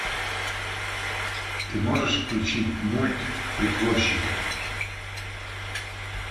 ты можешь включить мульт притворщик